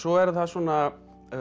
er það svona